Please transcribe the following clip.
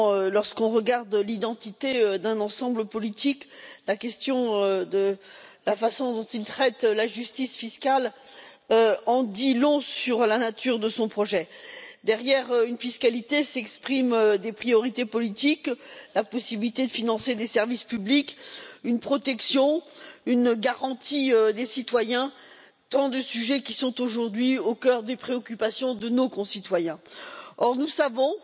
Lorsque l'on regarde l'identité d'un ensemble politique, la façon dont il traite la justice fiscale en dit long sur la nature de son projet. Derrière une fiscalité s'expriment des priorités politiques, la possibilité de financer des services publics, une protection, une garantie des citoyens, autant de sujets qui sont aujourd'hui au cœur des préoccupations de nos concitoyens. Or, nous savons